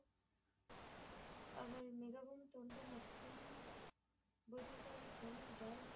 அவர் மிகவும் மற்றும் புத்திசாலித்தன